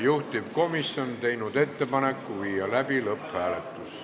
Juhtivkomisjon on teinud ettepaneku viia läbi lõpphääletus.